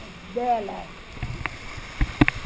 É dela.